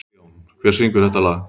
Sigjón, hver syngur þetta lag?